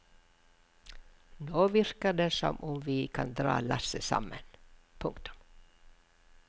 Nå virker det som om vi kan dra lasset sammen. punktum